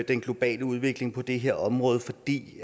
den globale udvikling på det her område fordi